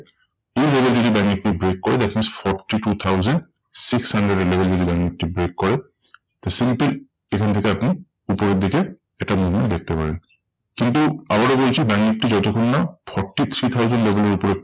এই level যদি bank Nifty break করে, that means forty two thousand six hundred এর level যদি ব্যাঙ্ক নিফটি break করে, simple এখান থেকে আপনি উপরের দিকে একটা movement দেখতে পারেন। কিন্তু আবারও বলছি ব্যাঙ্ক নিফটি যতক্ষণ না forty three thousand level এর উপরে